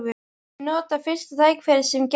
Ég nota fyrsta tækifæri sem gefst.